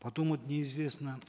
потом вот неизвестно